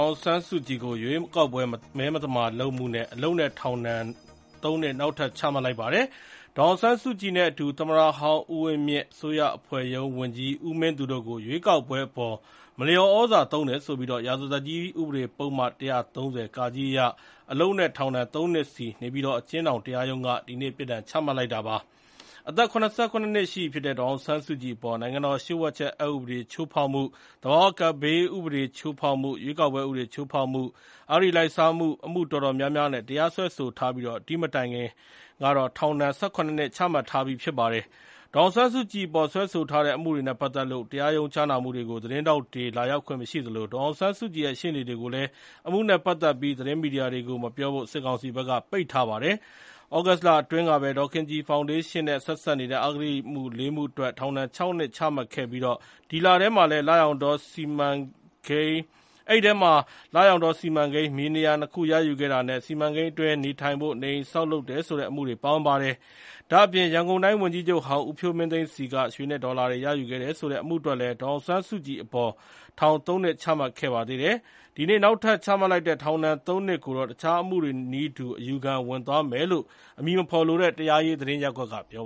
ာင်ဆန်းစုကြည်အပေါ် စွဲဆိုထားတဲ့ အမှုတွေထဲက ရွေးကောက်ပွဲမသမာမှု၊ ရာဇသတ်ကြီးပုဒ်မ ၁၃၀ (က) အရ အလုပ်နဲ့ ထောင်ဒဏ် ၃ နှစ် နေပြည်တော် အကျဉ်းထောင်တရားရုံးက ဒီနေ့ ချမှတ်လိုက်ပါတယ်။ ဒေါ်အောင်ဆန်းစုကြည်နဲ့အတူ သမ္မတဟောင်း ဦးဝင်းမြင့်၊ အစိုးရအဖွဲ့ရုံး ဝန်ကြီး ဦးမင်းသူတို့ကိုလည်း ရွေးကောက်ပွဲအပေါ် မလျှော်သြဇာသုံးတယ်ဆိုတဲ့ စွပ်စွဲချက်နဲ့ အလုပ်နဲ့ ထောင်ဒဏ် ၃ နှစ်စီ ပြစ်ဒဏ်မှတ်လိုက်တာပါ။ အသက် ၇၇ နှစ်ရှိပြီဖြစ်တဲ့ ဒေါ်အောင်ဆန်းစုကြည်အပေါ် နိုင်ငံတော် လျှို့ဝှက်အက်ဥပဒေ ချိုးဖောက်မှု၊ သဘာဝကပ်ဘေးဥပဒေ ချိုးဖောက်မှု၊ ရွေးကောက်ပွဲဥပဒေ ချိုးဖောက်မှု၊ အဂတိလိုက်စားမှု အမှုအတော်များများနဲ့ တရားစွဲဆိုထားပြီး အရင်က ၁၇ နှစ် ထောင်ဒဏ် ပြစ်ဒဏ်ချမှတ်ပြီးဖြစ်ပါတယ်။ ဒေါ်အောင်ဆန်းစုကြည်အပေါ် စွဲဆိုထားတဲ့ အမှုတွေနဲ့ပတ်သက်လို့ တရားရုံး ကြားနာမှုတွေကို သတင်းထောက်တွေ လာရောက်ခွင့် မရှိသလို ဒေါ်အောင်ဆန်းစုကြည်ရဲ့ ရှေ့နေတွေကိုလည်း အမှုနဲ့ပတ်သက်ပြီး သတင်းမီဒီယာတွေကို မပြောဖို့ စစ်ကောင်စီက ပိတ်ပင်ထားပါတယ်။ သြဂုတ်လအတွင်းကပဲ ဒေါ်ခင်ကြည်ဖောင်ဒေးရှင်းနဲ့ ဆက်စပ်တဲ့ အဂတိအမှု ၄ မှု အတွက် ထောင်ဒဏ် ၆ နှစ် နေပြည်တော် အကျဉ်းထောင် အထူးတရားရုံးက ချမှတ်ခဲ့ပါတယ်။ လရောင်တော စိုက်ပျိုး သက်မွေးပညာသင်တန်းကျောင်း စီမံကိန်း မြေနေရာ နှစ်ခုရယူခဲ့တာနဲ့ ဆက်စပ်တဲ့အမှုတွေနဲ့ လရောင်တောစီမံကိန်းအတွင်း နေထိုင်ဖို့ နေအိမ်ဆောက် လုပ်တယ်ဆိုပြီး စွဲဆိုထားတဲ့အမှုတွေ ပါဝင်ပါတယ်။ ရန်ကုန်တိုင်း ဝန်ကြီးချုပ်ဟောင်း ဦးဖြိုးမင်းသိန်းဆီက ရွှေနဲ့ဒေါ်လာရယူခဲ့တယ်ဆိုတဲ့အမှုအတွက်လည်း ဒေါ်အောင်ဆန်းစုကြည်အပေါ် ထောင် ၃ နှစ် ချမှတ်ခဲ့ပါတယ်။ ဒီနေ့ နောက်ထပ်ချမှတ်လိုက်တဲ့ ထောင်ဒဏ် ၃ နှစ် ပြစ်ဒဏ်အတွက် တခြားချမှတ်ခံခဲ့ရတဲ့ အမှုတွေနည်းတူ အယူခံဝင်သွားမယ်လို့ အမည်မဖေါ်လိုတဲ့ တရားရေးသတင်း ရပ်ကွက်က ပြော